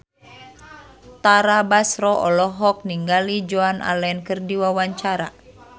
Tara Basro olohok ningali Joan Allen keur diwawancara